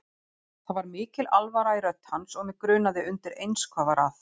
Það var mikil alvara í rödd hans og mig grunaði undireins hvað var að.